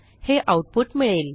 हे आऊटपुट मिळेल